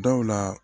Dawula